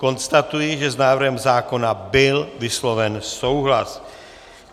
Konstatuji, že s návrhem zákona byl vysloven souhlas.